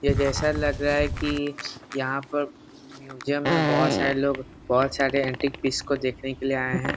यह जैसा लग रहा है कि यहाँ पर म्यूजियम में बहुत सारे लोग बहुत सारे एंटीक पिस को देखने के लिए आए हैं ।